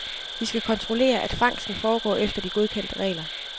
De skal kontrollere, at fangsten foregår efter de godkendte regler.